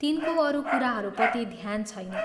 तिनको अरू कुराहरूपट्टि ध्यान छैन।